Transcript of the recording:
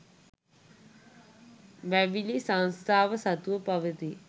වැවිලි සංස්ථාව සතුව පවතී